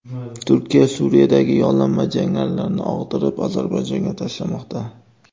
Turkiya Suriyadagi yollanma jangarilarni og‘dirib, Ozarbayjonga tashlamoqda.